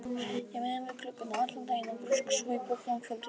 Ég vinn við gluggana allan daginn og grúska svo í bókum á kvöldin.